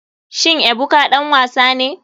Shin ebuka ɗan wasa ne.